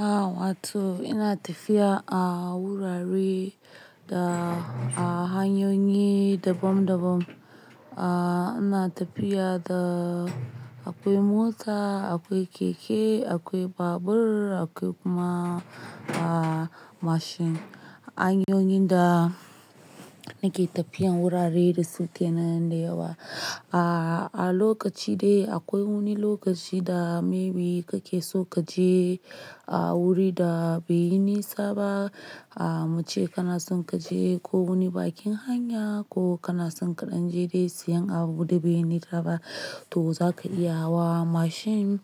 Ah Watu ina tafiya a wurare da hanyoyi daban-daban. Ah ina tafiya da akwai mota, akwai keke, akwai babur, akwai kuma ah mashin. Hanyoyin da nake tafiya wurare da suke nan da yawa. Ah a lokaci dai akwai wani lokaci da maybe kake so kaje a wuri da bai yi nisa ba, ah mace kana son kaje ko wani bakin hanya ko kana son kaɗan je dai siyan abu da bai yi nisa ba to zaka iya hawa mashin.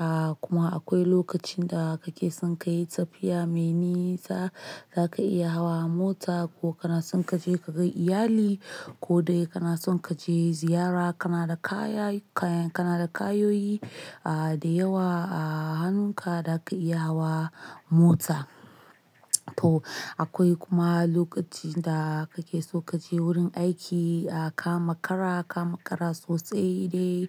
Ah kuma akwai lokacin da kake son ka yi tafiya me nisa, zaka iya hawa mota ko kana son kaje ka ga iyali ko dai kana son kaje ziyara kana da kaya, kana da kayoyi ah da yawa a hannunka da ka iya hawa mota. To akwai kuma lokacin da kake so kaje wurin aiki a kama kara, kama kara sosai dai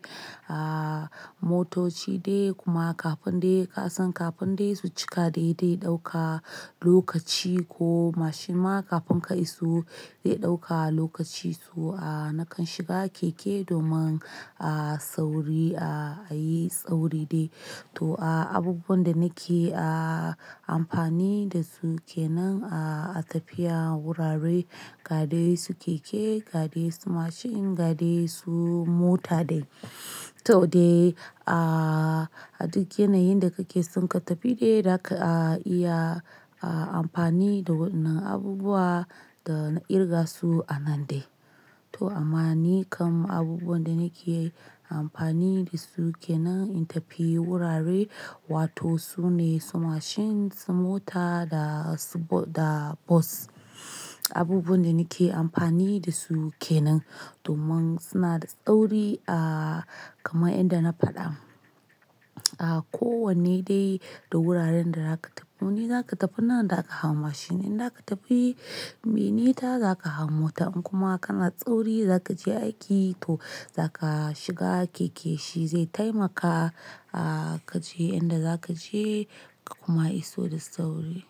ah motoci dai kuma kafin dai ka san kafin dai su cika dai dai dauka lokaci ko mashin ma kafin ka iso zai dauka lokaci, to ah na kan shiga keke domin a sauri a yi sauri dai. To ah abubuwan da nake a amfani da su kenan a tafiya wurare, ga dai su keke, ga dai su mashin, ga dai su mota dai. To dai ah duk yanayin da kake son ka tafi dai, zaka iya a amfani da wannan abubuwa da na kirga su a nan dai. To amma ni kam abubuwan da nake amfani da su kenan in tafi wurare, watan su ne su mashin, su mota da su bo-- da bas. Abubuwan da nake amfani da su kenan domin suna da sauri a kamar inda na fada. Ah ko wanne dai da wuraren da zaka tafi. Wani zaka tafi nan da aka hau mashin, inda aka tafi me nisa zaka hau mota in kuma kana da sauri za ka je aiki to za ka shiga keke shi zai taimaka a kaje inda za ka je kuma iso da sauri.